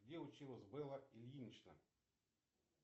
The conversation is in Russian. где училась белла ильинична